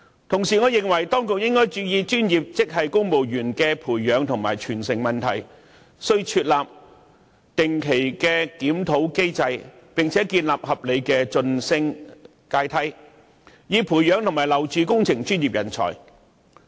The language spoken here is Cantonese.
同時，我認為當局應該注意專業職系公務員的培養和傳承問題，須設立定期檢討機制，並建立合理的晉升階梯，以培養和挽留工程專業人才。